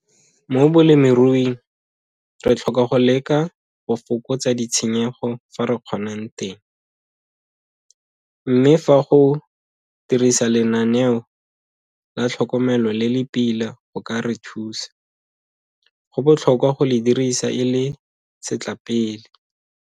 Mo bolemiruing re tlhoka go leka go fokotsa ditshenyego fa re kgonang teng, mme fa go dirisa lenaneo la tlhokomelo le le pila go ka re thusa, go botlhokwa go le dirisa e le setlapele.